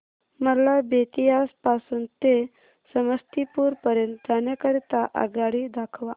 मला बेत्तीयाह पासून ते समस्तीपुर पर्यंत जाण्या करीता आगगाडी दाखवा